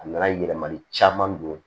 A nana yɛlɛmali caman don